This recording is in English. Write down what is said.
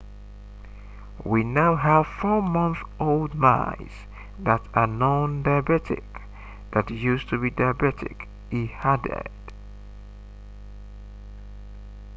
"we now have 4-month-old mice that are non-diabetic that used to be diabetic, he added